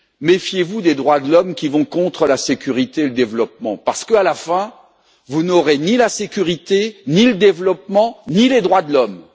Méfiez vous des droits de l'homme qui vont contre la sécurité et le développement parce qu'à la fin, vous n'aurez ni la sécurité, ni le développement, ni les droits de l'homme.